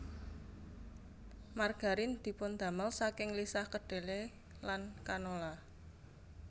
Margarin dipundamel saking lisah kedhele lan canola